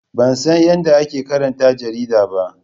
Ban san yadda ake karanta jarida ba.